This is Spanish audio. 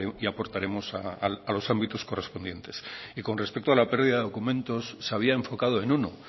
y aportaremos a los ámbitos correspondientes con respecto a la pérdida de documentos se había enfocado en uno